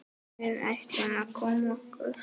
Við ættum að koma okkur.